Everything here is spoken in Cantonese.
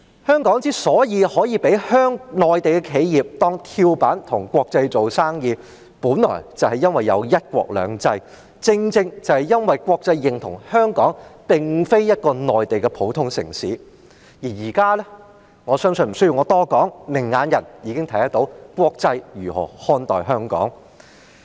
香港所以能夠被內地企業當跳板，跟國際做生意，本來就是因為有"一國兩制"，國際認同香港並非一個普通的內地城市，但現在——我相信無須我多說——明眼人已看得到國際如何看待香港。